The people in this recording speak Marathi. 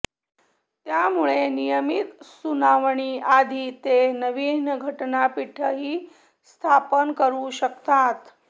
त्यामुळे नियमीत सुनावणीआधी ते नवीन घटनापीठही स्थापन करू शकतात